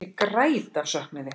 Ég græt af söknuði.